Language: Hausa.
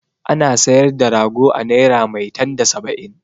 Ana sayar da rago a naira maitan da saba'in.